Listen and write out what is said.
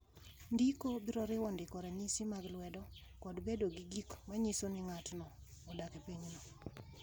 Ndiko biro riwo ndiko ranyisi mag lwedo kod bedo gi gik ma nyiso ni ng’ato odak e pinyno.